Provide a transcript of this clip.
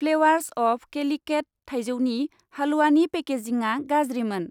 Flavours of Calicut थाइजौनि हालवानि पेकेजिंआ गाज्रिमोन।